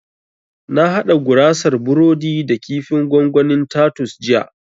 Na haɗa gurasar burodi da kifin gwangwanin tatus jiya